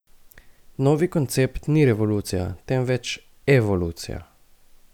Novi koncept ni revolucija, temveč evolucija.